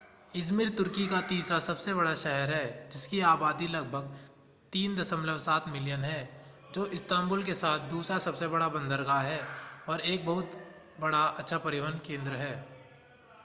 Izmir तुर्की का तीसरा सबसे बड़ा शहर है जिसकी आबादी लगभग 3.7 मिलियन है जो इस्तांबुल के बाद दूसरा सबसे बड़ा बंदरगाह है और एक बहुत अच्छा परिवहन केंद्र है